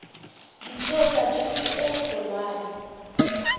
ditheo tsa thuto e kgolwane